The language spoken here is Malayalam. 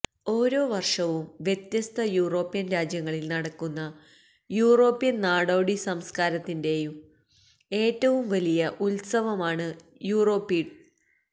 ഓരോ വർഷവും വ്യത്യസ്ത യൂറോപ്യൻ രാജ്യങ്ങളിൽ നടക്കുന്ന യൂറോപ്യൻ നാടോടി സംസ്കാരത്തിന്റെ ഏറ്റവും വലിയ ഉത്സവമാണ് യൂറോപ്പീഡ്